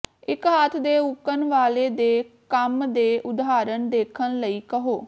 ਇੱਕ ਹੱਥ ਦੇ ਉੱਕਣ ਵਾਲੇ ਦੇ ਕੰਮ ਦੇ ਉਦਾਹਰਣ ਦੇਖਣ ਲਈ ਕਹੋ